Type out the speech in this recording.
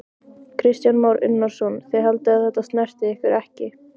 Kristján Már Unnarsson: Þið haldið að þetta snerti ykkur ekki?